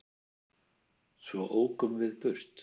Svo ókum við burt.